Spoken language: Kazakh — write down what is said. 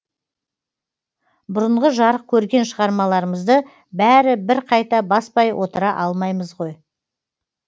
бұрынғы жарық көрген шығармаларымызды бәрі бір қайта баспай отыра алмаймыз ғой